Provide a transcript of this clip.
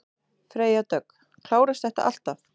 Freyja Dögg: Klárast þetta alltaf?